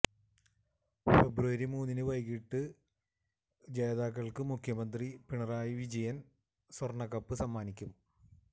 ഫെബ്രുവരി മൂന്നിന് വൈകീട്ട് ജേതാക്കള്ക്ക് മുഖ്യമന്ത്രി പിണറായി വിജയന് സ്വര്ണകപ്പ് സമ്മാനിക്കും